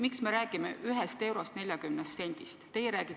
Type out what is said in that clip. Miks me räägime 1 eurost ja 40 sendist?